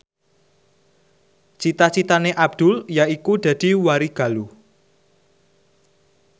cita citane Abdul yaiku dadi warigaluh